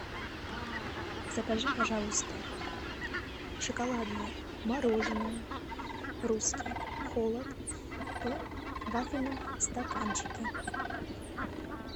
закажи пожалуйста шоколадное мороженое русский холод в вафельном стаканчике